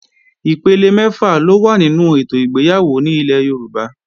Ipele mẹ́fà ló wà nínú ètò ìgbéyàwó ní ilẹ̀ Yorùbá